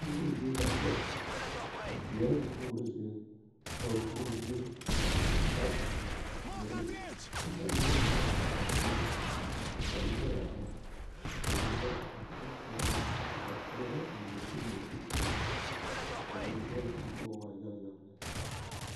Puoroo zie la a kyɛ yɛre puoroo zie a ba puori dieŋ la are a puoriŋ kyɛ ka noba yaɡe pa a zie ka lɔɛ are ka noba are ka ba kpeɛrɛ a musiri ana te puori a be poɔ la ka a noba waa yaɡayaɡa lɛ.